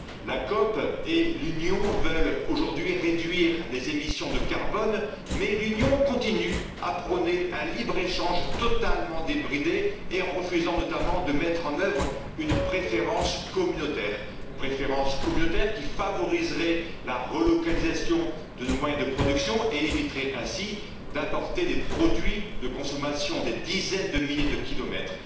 La COP 21 et l'Union veulent aujourd'hui réduire les émissions de carbone, mais l'Union continue à prôner un libre échange totalement débridé en refusant notamment de mettre en œuvre une préférence communautaire qui favoriserait la relocalisation de nos moyens de production et éviterait ainsi d'importer des produits de consommation des dizaines de milliers de kilomètres.